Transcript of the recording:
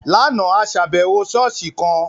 Láàna, a ṣàbẹwò ṣọ̀ọ́sì kan.